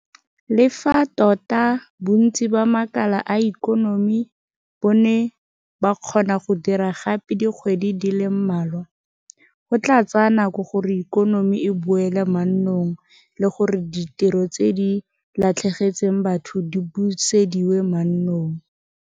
Le fa tota bontsi ba makala a ikonomi bo ne ba kgona go dira gape dikgwedi di le mmalwa, go tla tsaya nako gore ikonomi e boele mannong le gore ditiro tse di latlhegetseng batho di busediwe mannong.